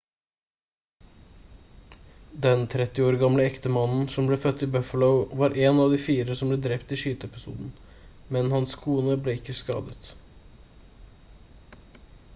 den 30 år gamle ektemannen som ble født i buffalo var en av de fire som ble drept i skyteepisoden men hans kone ble ikke skadet